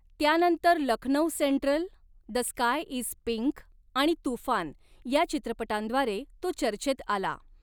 त्यानंतर 'Lucknow central', 'the sky is pink' आणि 'तूफान' या चित्रपटांद्वारे तो चर्चेत आला.